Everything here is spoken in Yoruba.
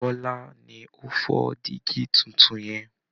Bọ́lá ni ó fọ dígí tuntun yẹn